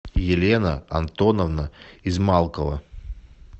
елена антоновна измалкова